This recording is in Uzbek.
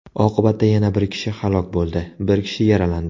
Oqibatda yana bir kishi halok bo‘ldi, bir kishi yaralandi.